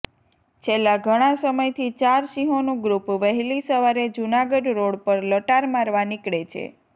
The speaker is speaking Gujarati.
છેલ્લા ઘણા સામયથી ચાર સિંહોનું ગ્રુપ વહેલી સવારે જૂનાગઢ રોડ પર લટાર મારવા નીકળે છે